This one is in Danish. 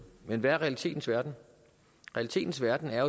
men hvad er realiteterne realiteterne er